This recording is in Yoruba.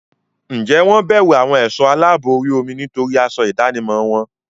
Ǹjẹ́ wọ́n bẹ̀rù àwọn ẹ̀sọ́ aláàbò orí omi nítorí aṣọ ìdánimọ̀ wọn?